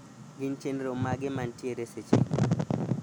gin chenro mage nantiere seche gi